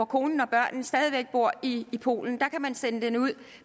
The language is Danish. kone og børn stadig væk bor i i polen